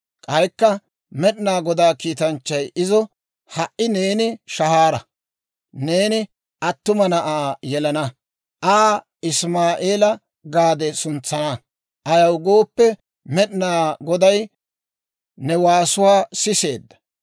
K'aykka Med'inaa Godaa kiitanchchay izo, «Ha"i neeni shahaara; neeni attuma na'aa yelana; Aa Isimaa'eela gaade suntsana; ayaw gooppe, Med'inaa Goday ne waasuwaa siseedda.